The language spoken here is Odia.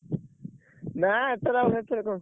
ନା ଏଥେରେ ଆଉ ହେର ଫେର କଣ?